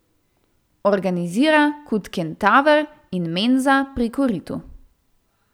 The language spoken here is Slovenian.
Organizira Kud Kentaver in Menza pri koritu.